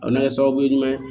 O na ye sababu ye jumɛn